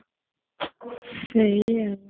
ସେଇ ଆଉ